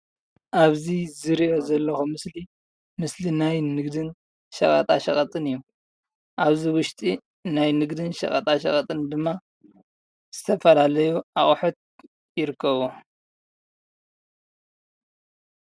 ኣብዚ ዝሪኦ ዘለኹ ምስሊ፡ ምስሊ ናይ ንግድን ሸቐጣ ሸቐጥን እዮም፡፡ ኣብዚ ውሽጢ ናይ ንግድን ሸቐጣ ሸቐጥን ድማ ዝተፈላለዩ ኣቐሑት ይርከብዎ፡፡